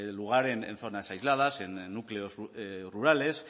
lugar en zonas aisladas en núcleos rurales